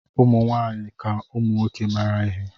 Ụmụ nwaanyị ka ụmụ nwoke mara ihe.